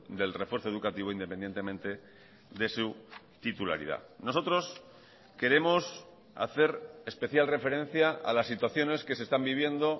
del refuerzo educativo independientemente de su titularidad nosotros queremos hacer especial referencia a las situaciones que se están viviendo